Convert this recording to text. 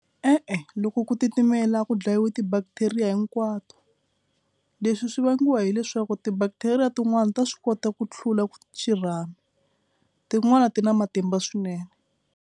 E-e, loko ku titimela a ku dlayiwa ti-bacteria hinkwato. Leswi swi vangiwa hileswaku ti-bacteria tin'wani ta swi kota ku hlula xirhami tin'wani ti na matimba swinene.